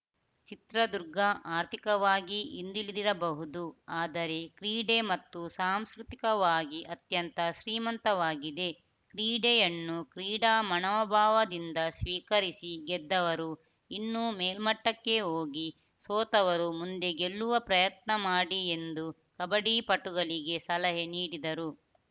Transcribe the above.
ಚಿತ್ರದುರ್ಗ ಆರ್ಥಿಕವಾಗಿ ಹಿಂದುಳಿದಿರಬಹುದು ಆದರೆ ಕ್ರೀಡೆ ಮತ್ತು ಸಾಂಸ್ಕೃತಿಕವಾಗಿ ಅತ್ಯಂತ ಶ್ರೀಮಂತವಾಗಿದೆ ಕ್ರೀಡೆಯನ್ನು ಕ್ರೀಡಾ ಮನೋಭಾವದಿಂದ ಸ್ವೀಕರಿಸಿ ಗೆದ್ದವರು ಇನ್ನು ಮೇಲ್ಮಟ್ಟಕ್ಕೆ ಹೋಗಿ ಸೋತವರು ಮುಂದೆ ಗೆಲ್ಲುವ ಪ್ರಯತ್ನ ಮಾಡಿ ಎಂದು ಕಬಡ್ಡಿ ಪಟುಗಳಿಗೆ ಸಲಹೆ ನೀಡಿದರು